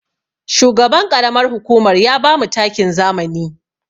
Shugaban ƙaramar hukumar ya bamu takin zamani.